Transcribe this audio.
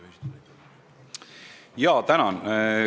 Tänan!